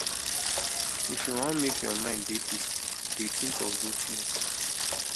if you wan make your mind dey peaceful dey tink of good tins